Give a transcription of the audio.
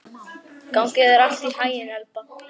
Gangi þér allt í haginn, Elba.